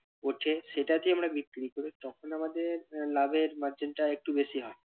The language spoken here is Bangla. উঠে সেটাকে আমরা বিক্রি করে তখন আমাদের আহ লাভের margin টা একটু বেশি হয়.